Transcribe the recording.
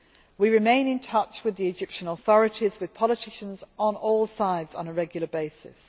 We remain in touch with the Egyptian authorities, with politicians on all sides on a regular basis.